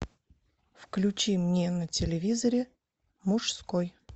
включи мне на телевизоре мужской